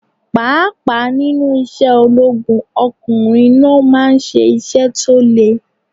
Pàápàá nínú isẹ́ ológun, ọkùnrin ló máa ń ṣe iṣẹ́ tó le.